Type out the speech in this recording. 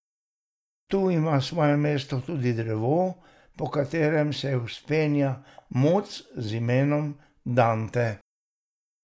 Tu ima svoje mesto tudi drevo, po katerem se vzpenja muc z imenom Dante.